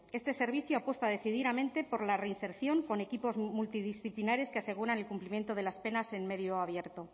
este servicio apuesta decididamente por la reinserción con equipos multidisciplinares que aseguran el cumplimiento de las penas en medio abierto